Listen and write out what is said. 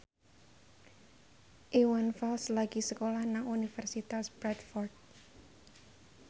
Iwan Fals lagi sekolah nang Universitas Bradford